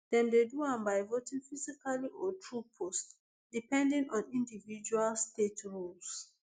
dem dey do am by voting physically or through post depending on individual state rules